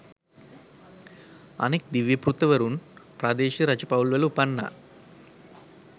අනෙක් දිව්‍යපුත්‍රවරුන් ප්‍රාදේශීය රජ පවුල්වල උපන්නා.